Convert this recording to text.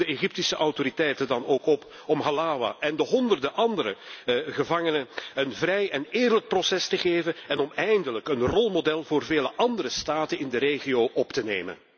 Ik roep de Egyptische autoriteiten dan ook op om Halawa en de honderden andere gevangenen een vrij en eerlijk proces te geven en om eindelijk een rolmodel voor veel andere staten in de regio op zich te nemen.